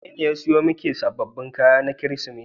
Wanene ya siyo miki sababbin kaya na Kirsimeti.